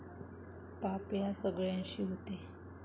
पाप या सगळ्यांशी होते.